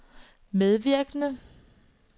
medvirkende